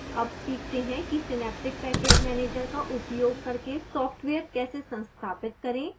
अब सीखते हैं कि synaptic package manager का उपयोग करके सॉफ्टवेयर कैसे संस्थापित करें